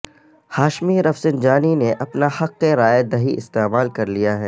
Hashmi Rafsanjani نے اپنا حق رائے دہی استعمال کر لیا ہے